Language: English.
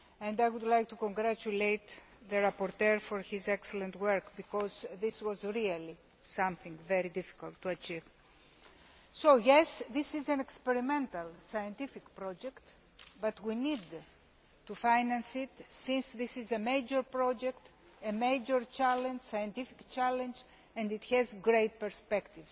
I would like to congratulate the rapporteur for his excellent work, because this was really something very difficult to achieve. This is an experimental scientific project, but we need to finance it since it is a major project and a major scientific challenge with great prospects.